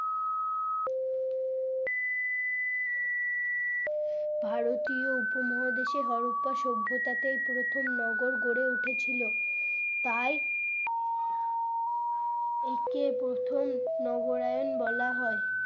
ভারতীয় উপমহাদেশে হরপ্পা সভ্যতা তে প্রথম নগর গড়ে উঠেছিল তাই একে প্রথম নগরায়ন বলা হয়।